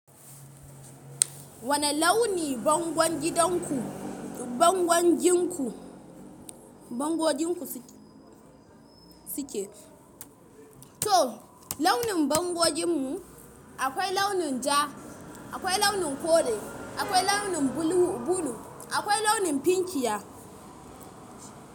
Wane launi bangon gidanku, bangon ginku, bangoginku suke? To launin bangoginmu akwai launin ja, akwai launin kore, akwai launin bulu, akwai launin finkiya.